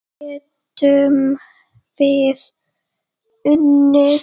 Getum við unnið?